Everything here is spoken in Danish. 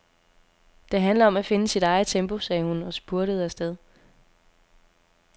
Det handler om at finde sit eget tempo, sagde hun og spurtede afsted.